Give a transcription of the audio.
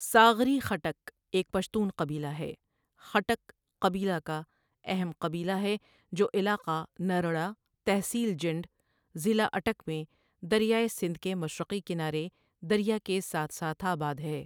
ساغری خٹک ایک پشتون قبیلہ ہے، خٹک قبیلہ کا اہم قبیلہ ہے جو علاقہ نرڑہ، تحصیل جنڈ، ضلع اٹک میں دریائے سندھ کے مشرقی کنارے، دریا کے ساتھ ساتھ آباد ہے۔